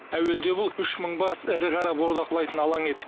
әуелде бұл үш мың бас ірі қара бордақылайтын алаң еді